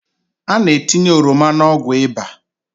A na-etinye ọrọma n’ọgwụ ịba